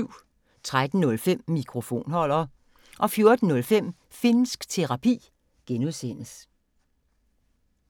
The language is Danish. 13:05: Mikrofonholder 14:05: Finnsk Terapi (G)